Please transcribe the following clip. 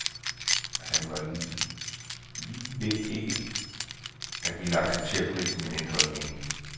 Han var lige ved ikke at ville acceptere prisen, men ændrede mening.